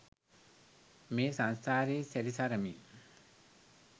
මේ සංසාරේ සැරි සරමින්